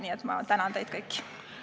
Nii et ma tänan teid kõiki!